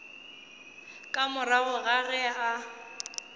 ka morago ga ge a